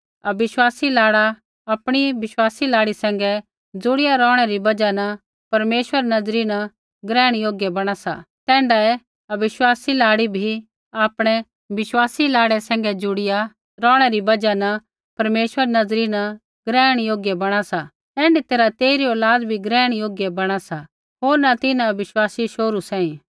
अविश्वासी लाड़ा आपणी विश्वासी लाड़ी सैंघै जुड़िया रौहणै री बजहा न परमेश्वरा री नज़री न ग्रहण योग्य बणा सा तैण्ढै ही अविश्वासी लाड़ी भी आपणै विश्वासी लाड़ै सैंघै जुड़िया रौहणै री बजहा न परमेश्वरा री नज़री न ग्रहण योग्य बणा सा ऐण्ढी तैरहा तेइरी औलाद भी ग्रहण योग्य बणा सा होर न तिन्हां अविश्वासी शोहरू सांही